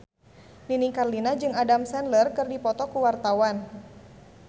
Nini Carlina jeung Adam Sandler keur dipoto ku wartawan